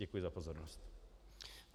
Děkuji za pozornost.